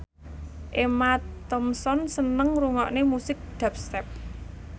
Emma Thompson seneng ngrungokne musik dubstep